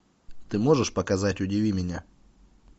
ты можешь показать удиви меня